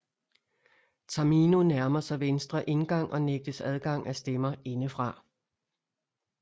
Tamino nærmer sig venstre indgang og nægtes adgang af stemmer indefra